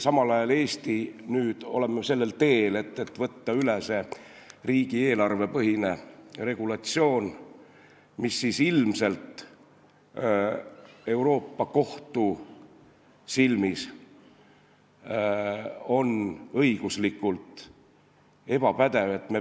Samal ajal on Eesti nüüd sellel teel, et võtta üle riigieelarvepõhine regulatsioon, mis ilmselt on Euroopa Kohtu silmis õiguslikult ebapädev.